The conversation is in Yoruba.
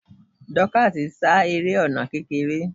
Dorcas ń sá eré ọ̀nà kékeré.